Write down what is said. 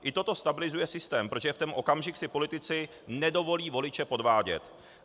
I toto stabilizuje systém, protože v ten okamžik si politici nedovolí voliče podvádět.